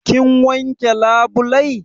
Kin wanke labulai?